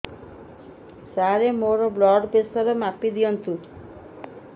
ସାର ମୋର blood pressure ମାପି ଦିଅନ୍ତୁ